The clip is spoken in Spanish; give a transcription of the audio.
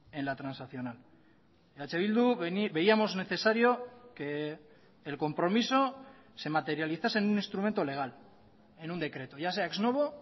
en la transaccional eh bildu veíamos necesario que el compromiso se materializase en un instrumento legal en un decreto ya sea ex novo